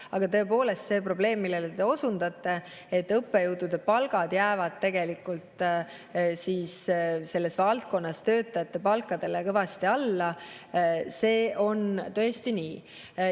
Aga tõepoolest see probleem, millele te osutate, et õppejõudude palgad jäävad tegelikult selles valdkonnas töötajate palkadele kõvasti alla, on tõesti nii.